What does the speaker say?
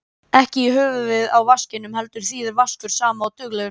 Ekki í höfuðið á vaskinum heldur þýðir vaskur sama og duglegur.